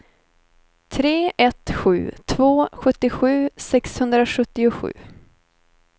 tre ett sju två sjuttiosju sexhundrasjuttiosju